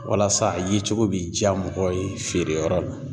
Walasa a yecogo bi jaa mɔgɔw ye feere yɔrɔ la.